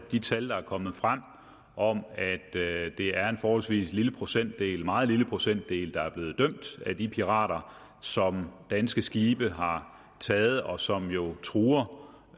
de tal der er kommet frem om at det er en forholdsvis lille procentdel meget lille procentdel af de pirater som danske skibe har taget og som jo truer